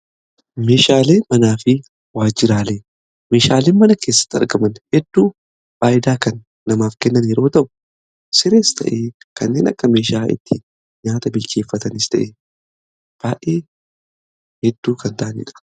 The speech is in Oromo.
Meeshaalee manaa fi waajiraalee meeshaalee mana keessatti argaman hedduu fayidaa kan namaaf kennan yeroo ta'u sirees ta'ee kanneen akka meeshaa itti nyaata bilcheeffatanis ta'ee baay'ee hedduu kan ta'anidha.